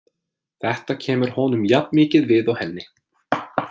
Þetta kemur honum jafnmikið við og henni.